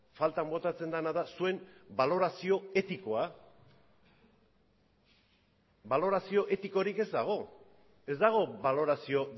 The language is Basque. faltan botatzen dena da zuen balorazio etikoa balorazio etikorik ez dago ez dago balorazio